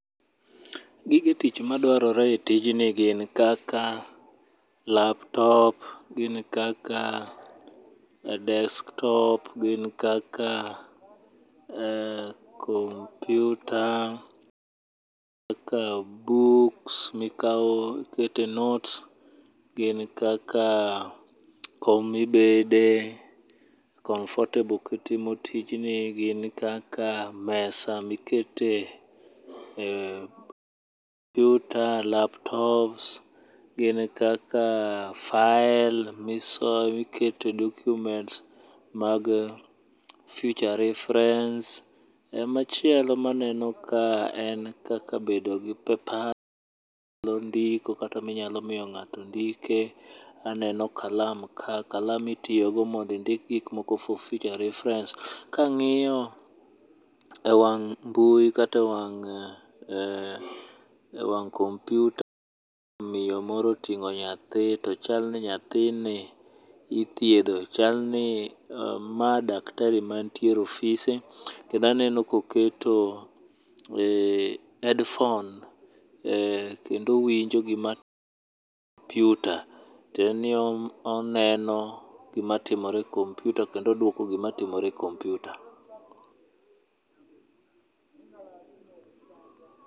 Gige tich madwarore e tijni gin kaka laptop gin kaka desk top, gin kaka kompiuta, kaka buks mikawo mikao ikete notes gin kaka kom mibede comfortable kitimo tijni. Gin kaka mesa mikete ee kompiuta, laptop, gin kaka fael mikete documents mag future reference machielo maneno kae en kaka bedo gi papers minyalo ndike kata minyalo miyo ng'ato ndike, aneno kaka kalam, bende gik moko for future reference. Kang'iyo ewang' mbui kata ewang' kompiuta, miyo moro oting'o nyathi to chal ni nyathini ithiedho, chal ni mae daktari mantiere e ofise kendo aneno koketo headphone, kendo owinjo gima kompiuta tiende ni oneno gima timore e kompiuta kendo owinjo gima timore e kompiuta.